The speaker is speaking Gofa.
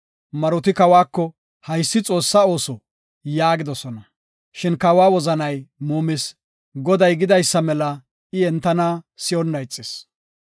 Maroti kawako, “Haysi Xoossaa ooso” yaagidosona. Shin kawa wozanay muumis. Goday gidaysa mela I entana si7onna ixis.